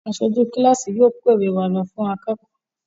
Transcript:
aṣojú kilasi yóò kọ ìwé wá ló fún akékòó.